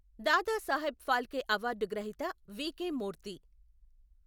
Dadasaheb Phalke award గ్రహీత వి.కె.మూర్తి.